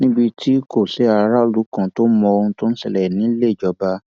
níbi tí kò ti sí aráàlú kan tó mọ ohun tó ń ṣẹlẹ nílé ìjọba